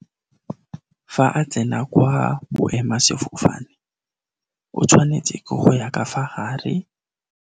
Fa a tsena kwa boema-sefofane, o tshwanetse ke go ya ka fa gare.